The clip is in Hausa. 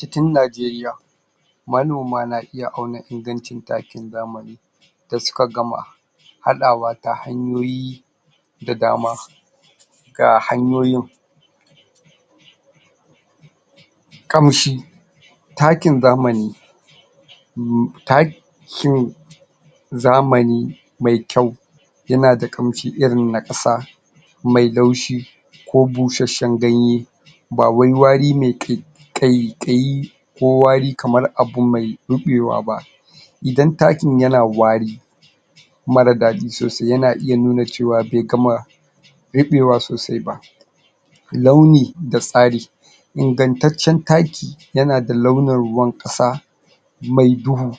Titin Najeriya manoma na iya auna ingancin takin zamani da suka gam haɗawa ta hanyoyi da dama ga hanyoyin ƙamshi takin zamani umm takin zamani mai kyau yana da ƙamshi irin na ƙasa mai laushi ko bushasshen ganye ba wai wari mai kai ƙaiƙayi ko wari kamar abu mai ruɓewa ba idan takin yana wari mara daɗi sosai yana iya nuna cewa bai gama ruɓewa sosai ba launi da tsari ingantaccen taki yana da launin ruwan ƙasa mai duhu